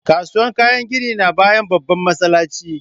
Kasuwar kayan gini na bayan babban masallaci